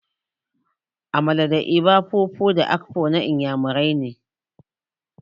Amala, eba, fufu da akpu na Inyamurani ne.